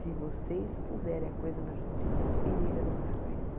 Se vocês puserem a coisa na justiça, periga demorar mais.